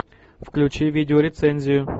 включи видеорецензию